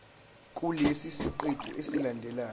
kulesi siqephu esilandelayo